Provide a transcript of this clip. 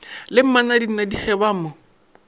le mmanadinadi ge ba mo